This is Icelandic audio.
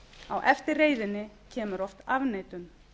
á eftir reiðinni kemur oft afneitun